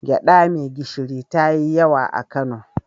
Gyaɗa mai gishiri ta yi yawa a Kano.